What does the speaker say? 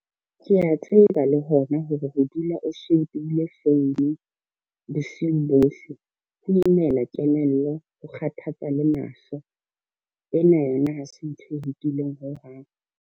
Ke a tseba le hona hore ho dula o shebile phone, bosiung bohle. Ho imela kelello, ho kgathatsa le mahlo, ena yona ha se ntho e lokileng ho hang.